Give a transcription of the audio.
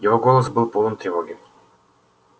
его голос был полон тревоги